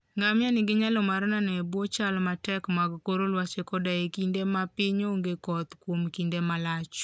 Ngamia nigi nyalo mar nano e bwo chal matek mag kor lwasi koda e kinde ma piny onge koth kuom kinde malach.